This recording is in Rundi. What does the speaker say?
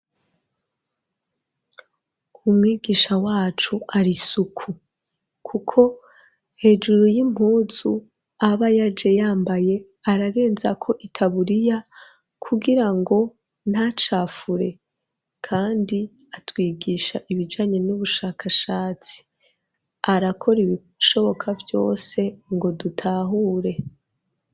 Umwigisha wacu ari isuku kuko hejuru y'impunzu aba yaje yambaye, ararenzako itaburiya kugirango ntacafure. Kandi atwigisha ibijanye n'ubushakashatsi. Arakora ibishoboka vyose ngo dutahure.